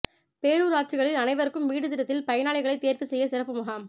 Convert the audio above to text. பேரூராட்சிகளில் அனைவருக்கும் வீடு திட்டத்தில் பயனாளிகளை தோ்வு செய்ய சிறப்பு முகாம்